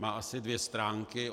Má asi dvě stránky.